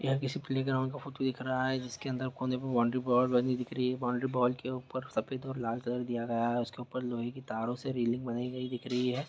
यह किसी playground का फोटो दिख रहा है जिसके अन्दर बाउंड्री वोल बनी हुई बाउंड्री वोल के ऊपर सफेद और लाल कलर किया गया है उसके ऊपर लोहे की तारों से रेलिंग बनी हुई दिख रही है।